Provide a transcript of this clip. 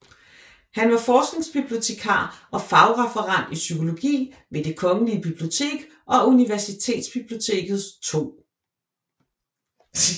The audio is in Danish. Han var forskningsbibliotekar og fagreferent i psykologi ved Det Kongelige Bibliotek og Universitetsbibliotekets 2